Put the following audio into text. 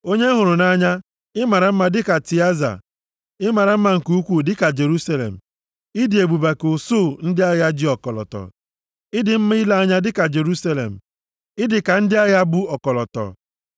Onye m hụrụ nʼanya, ị mara mma dịka Tịaza, ị mara mma nke ukwu dịka Jerusalem, ị dị ebube ka usuu ndị agha ji ọkọlọtọ. + 6:4 Tịaza bụ obodo ochie eze Jeroboam họpụtara ka ọ bụrụ isi obodo ọchịchị nke alaeze ugwu. Ọ bụ na senchuri nke iri (Tupu a mụọ Kraịst). \+xt 1Ez 14:17; 1Ez 15:21,33; 16:6,8,15,23\+xt* Ị dị mma ile anya dịka Jerusalem; Ị dị ka ndị agha bu ọkọlọtọ.